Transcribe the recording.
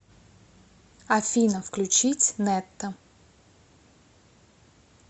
афина включить нетта